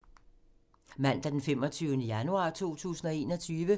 Mandag d. 25. januar 2021